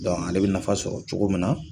ale bɛ nafa sɔrɔ cogo min na